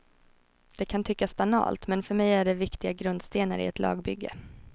Det kan tyckas banalt, men för mig är det viktiga grundstenar i ett lagbygge.